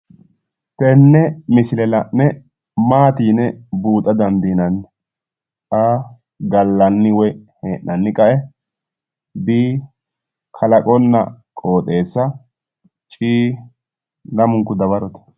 Tenne misile la'ne maati yine buuxa dandiinanni? a) gallanni woyi hee'nanni qae b) kalaqonna qooxeessa d) lamunku dawarote